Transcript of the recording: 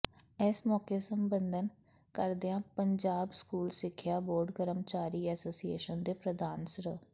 ਇਸ ਮੌਕੇ ਸੰਬੋਧਨ ਕਰਦਿਆਂ ਪੰਜਾਬ ਸਕੂਲ ਸਿੱਖਿਆ ਬੋਰਡ ਕਰਮਚਾਰੀ ਐਸੋਸੀਏਸ਼ਨ ਦੇ ਪ੍ਰਧਾਨ ਸ੍ਰ